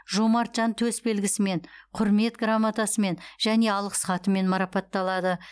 жомарт жан төсбелгісімен құрмет грамотасымен және алғыс хатымен марапатталады